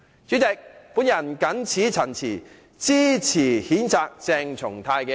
主席，我謹此陳辭，支持譴責鄭松泰的議案。